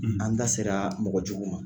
an da seraa mɔgɔ jugu ma.